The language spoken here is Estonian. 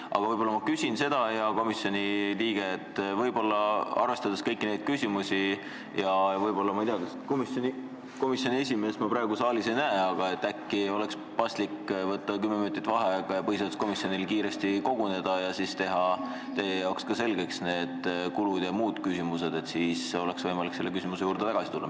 Aga ma küsin, hea komisjoni liige, selle kohta, et arvestades kõiki neid küsimusi oleks ehk paslik võtta 10 minutit vaheaega ja põhiseaduskomisjonil kiiresti koguneda – ehkki komisjoni esimeest ma praegu saalis ei näe – ning teha selgeks kulud jm küsimused, siis oleks võimalik selle küsimuse juurde tagasi tulla.